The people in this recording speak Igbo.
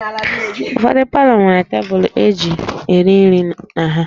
Ụfọdụ palọ nwere tebụlụ e ji eri nri na ha